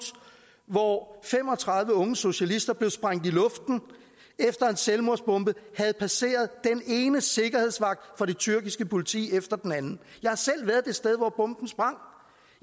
hvor fem og tredive unge socialister blev sprængt i luften efter en selvmordsbomber havde passeret den ene sikkerhedsvagt fra det tyrkiske politi efter den anden jeg har selv været det sted hvor bomben sprang